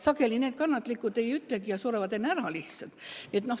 Sageli need kannatlikud ei ütlegi ja surevad enne lihtsalt ära.